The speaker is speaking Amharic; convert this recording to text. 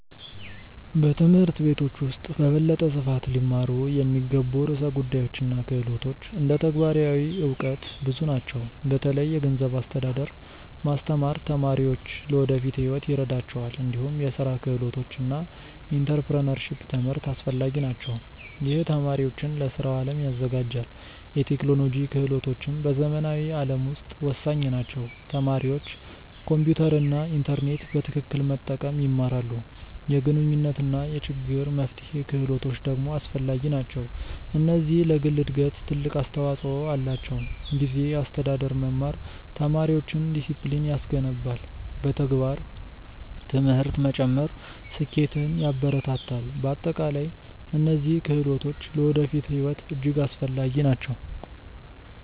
በትምህርት ቤቶች ውስጥ በበለጠ ስፋት ሊማሩ የሚገቡ ርዕሰ ጉዳዮች እና ክህሎቶች እንደ ተግባራዊ እውቀት ብዙ ናቸው። በተለይ የገንዘብ አስተዳደር ማስተማር ተማሪዎች ለወደፊት ሕይወት ይረዳቸዋል። እንዲሁም የስራ ክህሎቶች እና ኢንተርፕረነርሺፕ ትምህርት አስፈላጊ ናቸው። ይህ ተማሪዎችን ለስራው አለም ያዘጋጃል። የቴክኖሎጂ ክህሎቶችም በዘመናዊ ዓለም ውስጥ ወሳኝ ናቸው። ተማሪዎች ኮምፒውተር እና ኢንተርኔት በትክክል መጠቀም ይማራሉ። የግንኙነት እና የችግር መፍትሄ ክህሎቶች ደግሞ አስፈላጊ ናቸው። እነዚህ ለግል እድገት ትልቅ አስተዋፅኦ አላቸው። ጊዜ አስተዳደር መማር ተማሪዎችን ዲሲፕሊን ያስገነባል። በተግባር ትምህርት መጨመር ስኬትን ያበረታታል። በአጠቃላይ እነዚህ ክህሎቶች ለወደፊት ሕይወት እጅግ አስፈላጊ ናቸው።